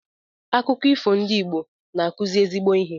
Akụkọ ifo ndị Igbo na-akụzi ezigbo ihe.